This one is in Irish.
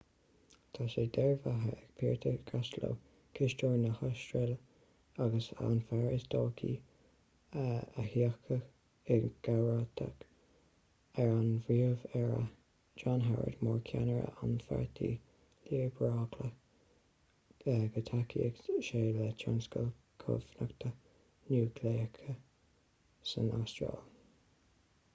tá sé dearbhaithe ag peter costello cisteoir na hastráile agus an fear is dóichí a thiocfaidh i gcomharbacht ar an bpríomh-aire john howard mar cheannaire an pháirtí liobrálaigh go dtacóidh sé le tionscal cumhachta núicléiche san astráil